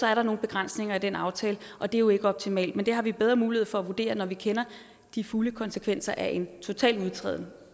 er der nogle begrænsninger i den aftale og det er jo ikke optimalt men det har vi bedre muligheder for at vurdere når vi kender de fulde konsekvenser af en total udtræden